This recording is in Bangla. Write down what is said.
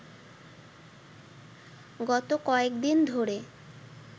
গত কয়েক দিন ধরে